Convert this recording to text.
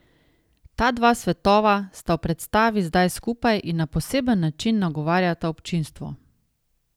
Ta dva svetova sta v predstavi zdaj skupaj in na poseben način nagovarjata občinstvo.